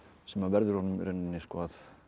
sem verður honum í rauninni að